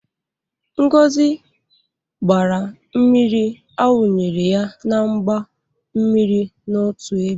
Ngo gbara mmiri a wunyere ya na mgba mmiri n'otu ebe.